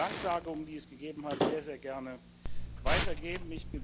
Danksagungen, die es gegeben hat, sehr, sehr gerne weitergeben.